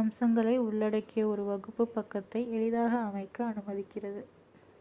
அம்சங்களை உள்ளடக்கிய ஒரு வகுப்பு பக்கத்தை எளிதாக அமைக்க அனுமதிக்கிறது